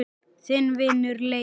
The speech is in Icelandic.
Þinn vinur Leifur.